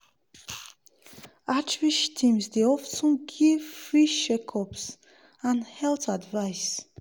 outreach teams dey of ten give free check-ups and health advice.